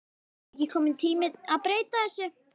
Er ekki kominn tími að breyta þessu?